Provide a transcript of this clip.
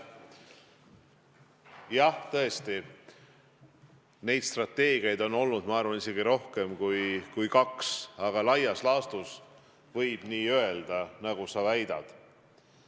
Jah, tõesti, neid strateegiaid on olnud, ma arvan, isegi rohkem kui kaks, aga laias laastus võib öelda nii, nagu sa väidad.